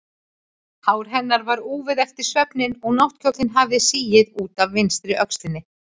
Hár hennar var úfið eftir svefninn og náttkjóllinn hafði sigið út af vinstri öxlinni.